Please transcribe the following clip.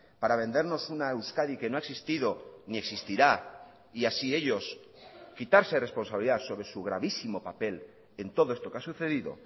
para vendernos una euskadi que no ha existido ni existirá y así ellos quitarse responsabilidad sobre su gravísimo papel en todo esto que ha sucedido